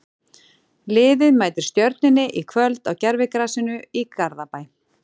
Liðið mætir Stjörnunni í kvöld á gervigrasinu í Garðabæ.